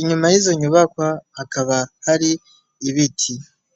inyuma y'izo nyubakwa hakaba hari ibiti.